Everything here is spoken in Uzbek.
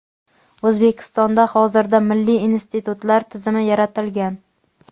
O‘zbekistonda hozirda milliy institutlar tizimi yaratilgan.